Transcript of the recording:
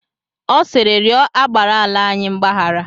Ọ sịịrị, rịọ agbara ala anyị mgbahara!